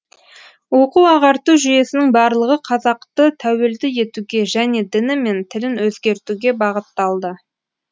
оқу ағарту жүйесінің барлығы қазақты тәуелді етуге және діні мен тілін өзгертуге бағытталды